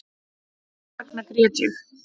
Þessvegna grét ég